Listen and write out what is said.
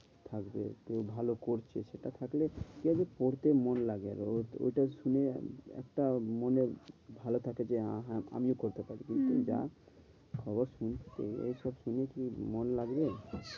থাকবে কেউ ভালো করছে সেটা থাকলে কি হবে? পড়তে মন লাগবে। আর ঐটা শুনে একটা মনে ভালো থাকে যে আমিও করতে পারি। হম হম যা খবর শুনছি এইসব শুনে কি মন লাগবে?